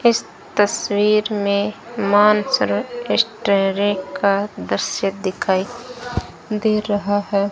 इस तस्वीर में मानसरोवर यस्टरेड का दृश्य दिखाई दे रहा है।